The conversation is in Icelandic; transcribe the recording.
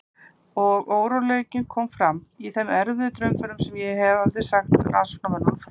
Og óróleikinn kom fram í þeim erfiðu draumförum sem ég hafði sagt rannsóknarmönnum frá.